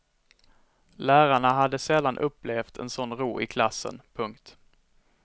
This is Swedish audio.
Lärarna hade sällan upplevt en sån ro i klassen. punkt